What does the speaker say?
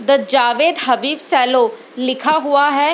The Jawed Habib salon लिखा हुआ है।